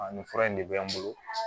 nin fura in de bɛ n bolo